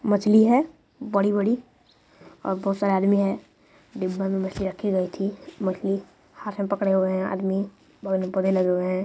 मछली है बड़ी बड़ी और बहुत सरे आदमी है डिब्बा में मछली राखी गई थी मछली हाथ में पकड़े हए है आदमी बड़े लगे हुए है।